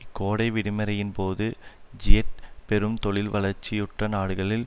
இக்கோடை விடுமுறையின்போது ஜிஎட்டு பெரும் தொழில்வளர்ச்சியுற்ற நாடுகளில்